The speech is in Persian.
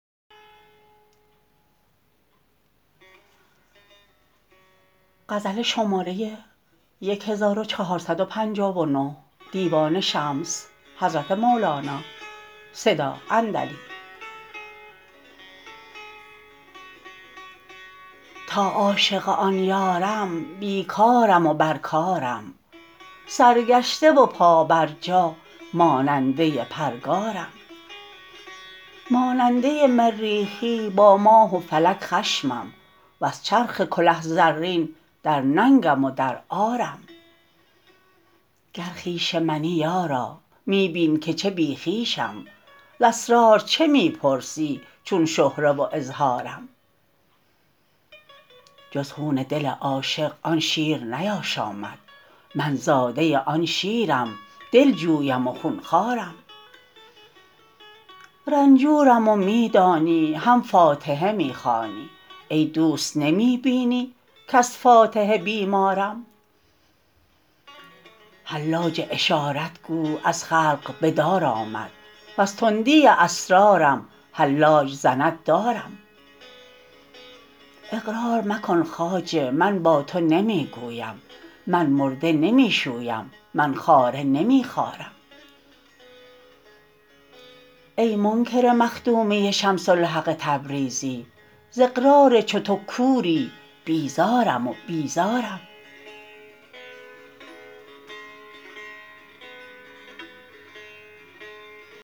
تا عاشق آن یارم بی کارم و بر کارم سرگشته و پابرجا ماننده پرگارم ماننده مریخی با ماه و فلک خشمم وز چرخ کله زرین در ننگم و در عارم گر خویش منی یارا می بین که چه بی خویشم ز اسرار چه می پرسی چون شهره و اظهارم جز خون دل عاشق آن شیر نیاشامد من زاده آن شیرم دلجویم و خون خوارم رنجورم و می دانی هم فاتحه می خوانی ای دوست نمی بینی کز فاتحه بیمارم حلاج اشارت گو از خلق به دار آمد وز تندی اسرارم حلاج زند دارم اقرار مکن خواجه من با تو نمی گویم من مرده نمی شویم من خاره نمی خارم ای منکر مخدومی شمس الحق تبریزی ز اقرار چو تو کوری بیزارم و بیزارم